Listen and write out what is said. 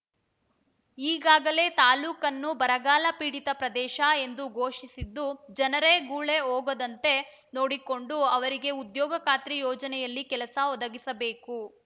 ಈಗಾಗಲೇ ತಾಲೂಕನ್ನು ಬರಗಾಲ ಪೀಡಿತ ಪ್ರದೇಶ ಎಂದು ಘೋಷಿಸಿದ್ದು ಜನರೇ ಗುಳೇ ಹೋಗದಂತೆ ನೋಡಿಕೊಂಡು ಅವರಿಗೆ ಉದ್ಯೋಗ ಖಾತ್ರಿ ಯೋಜನೆಯಲ್ಲಿ ಕೆಲಸ ಒದಗಿಸಬೇಕು